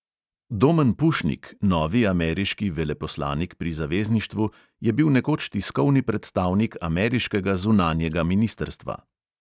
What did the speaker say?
Domen pušnik, novi ameriški veleposlanik pri zavezništvu, je bil nekoč tiskovni predstavnik ameriškega zunanjega ministrstva.